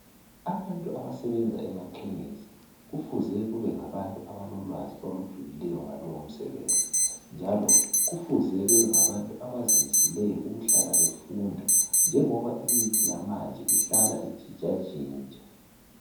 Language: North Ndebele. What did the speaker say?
Abantu abasebenza emakhemisi kufuze kube ngabantu abalolwazi olujulileyo ngalowo msebenzi njalo kufuze bebengabantu abazimiseleyo ukuhlala befunda njengoba imithi yamanje ihlala intshintshantshintsha.